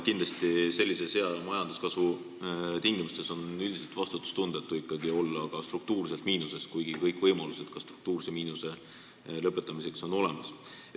Kindlasti on sellise hea majanduskasvu tingimustes üldiselt vastutustundetu olla struktuurses miinuses, kuigi kõik võimalused ka struktuurse miinuse lõpetamiseks on olemas.